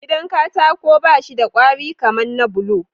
Gidan katako bashi da kwari kaman na bulo